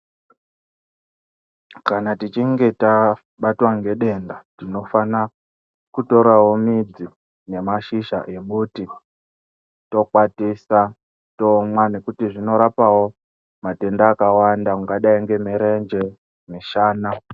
Kana tichinge tabatwa nedenda tinofara kutora midzi nemashizha emuti tokwatisa tomwa nekuti zvinorapawo matenda akawanda ungadai nemurenje musana.